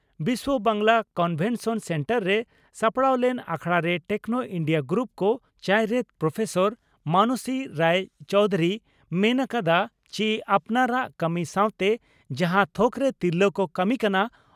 Biswa Bangla convention centre ᱨᱮ ᱥᱟᱯᱲᱟᱣ ᱞᱮᱱ ᱟᱠᱷᱲᱟᱨᱮ ᱴᱮᱠᱱᱚ ᱤᱱᱰᱤᱭᱟ ᱜᱨᱩᱯ ᱠᱚᱼᱪᱟᱭᱨᱮᱛ ᱯᱨᱚᱯᱷᱮᱥᱚᱨ ᱢᱟᱱᱚᱥᱤ ᱨᱟᱭ ᱪᱚᱣᱫᱷᱩᱨᱤᱭ ᱢᱮᱱ ᱠᱮᱫᱼᱟ ᱪᱤ ᱟᱯᱱᱟᱨᱟᱜ ᱠᱟᱹᱢᱤ ᱥᱟᱣᱛᱮ ᱡᱟᱦᱟᱸ ᱛᱷᱚᱠᱨᱮ ᱛᱤᱨᱞᱟᱹ ᱠᱚ ᱠᱟᱹᱢᱤ ᱠᱟᱱᱟ